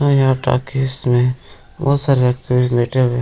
और यहां टाॅकिज में बहुत सारे व्यक्ति भी बैठे हुए --